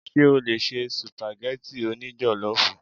Ṣé o lè se Sùpàgẹ́tì o ní jọ̀lọ́fù?